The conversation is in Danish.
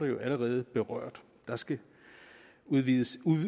jo allerede berørt der skal udvises